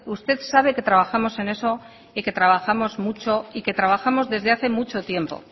usted sabe que trabajamos en eso y que trabajamos mucho y que trabajamos desde hace mucho tiempo